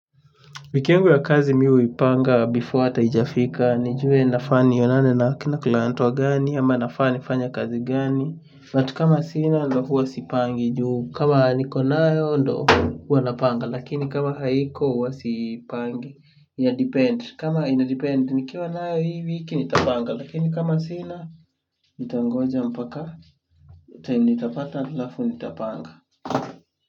Wiki yangu ya kazi mimi huipanga before hata haijafika nijue nafaa nionane na client wagani ama nafaa nifanye kazi gani but kama sina ndio huwa sipangi juu kama nikonayo ndio huwa napanga lakini kama haiko huwa sipangi. Inadepend. Kama inadepend nikiwa nayo hii wiki nitapanga. Lakini kama sina nitangoja mpaka time nitapata alafu nitapanga.